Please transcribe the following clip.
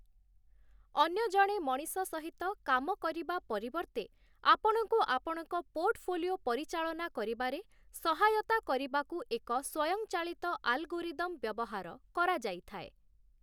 ଅନ୍ୟ ଜଣେ ମଣିଷ ସହିତ କାମ କରିବା ପରିବର୍ତ୍ତେ, ଆପଣଙ୍କୁ ଆପଣଙ୍କ ପୋର୍ଟଫୋଲିଓ ପରିଚାଳନା କରିବାରେ ସହାୟତା କରିବାକୁ ଏକ ସ୍ୱୟଂଚାଳିତ ଆଲଗୋରିଦମ୍‌ ବ୍ୟବହାର କରାଯାଇଥାଏ ।